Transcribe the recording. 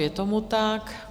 Je tomu tak.